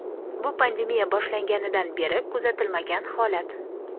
bu pandemiya boshlanganidan beri kuzatilmagan holat.